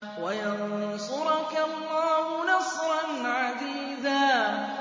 وَيَنصُرَكَ اللَّهُ نَصْرًا عَزِيزًا